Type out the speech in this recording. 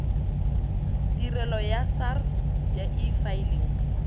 tirelo ya sars ya efiling